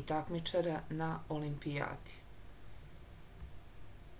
i takmičara na olimpijadi